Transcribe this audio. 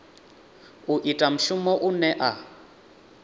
u ita mushumo une a